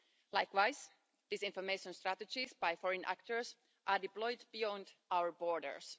Likewise, disinformation strategies by foreign actors are deployed beyond our borders.